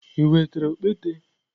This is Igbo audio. I wetara okpete?